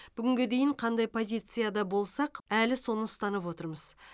бүгінге дейін қандай позицияда болсақ әлі соны ұстанып отырмыз